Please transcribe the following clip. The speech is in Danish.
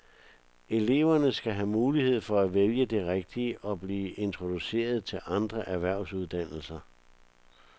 Eleverne skal have mulighed for at vælge det rigtige og blive introduceret til andre erhvervsuddannelser.